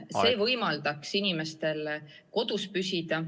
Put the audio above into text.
See võimaldaks inimestel kodus püsida.